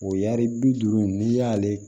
O y'ari bi duuru n'i y'ale